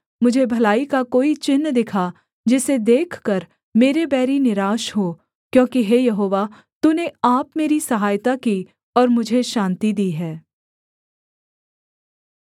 मुझे भलाई का कोई चिन्ह दिखा जिसे देखकर मेरे बैरी निराश हों क्योंकि हे यहोवा तूने आप मेरी सहायता की और मुझे शान्ति दी है